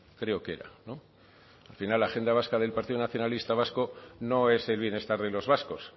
creo que era no al final la agenda vasca del partido nacionalista vasco no es el bienestar de los vascos